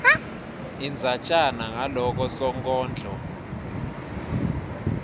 indzatjana ngaloko sonkondlo